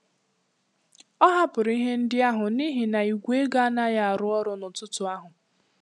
Ọ hapụrụ ihe ndị ahụ n'ihi na Igwe ego anaghị arụ ọrụ n'ụtụtụ ahụ.